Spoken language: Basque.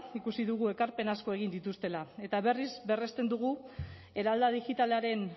ikusi dugu ekarpen asko egin dituztela eta berriz berresten dugu eralda digitalaren